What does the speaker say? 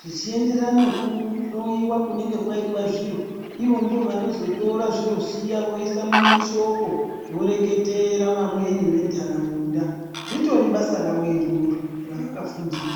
zvichienderana nekuhloiwa kunenge kwaitwa zviro. Ivo ndivo vanozotora zviro zviya voisa mumashoko voreketera vamweni ventaraunda ritori basa ravo iroro ravakafundira.